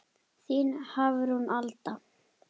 Þín Hafrún Alda.